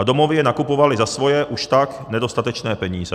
A domovy je nakupovaly za svoje už tak nedostatečné peníze.